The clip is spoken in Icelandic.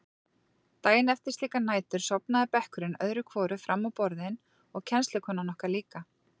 Daginn eftir slíkar nætur sofnaði bekkurinn öðru hvoru fram á borðin og kennslukonan okkar líka.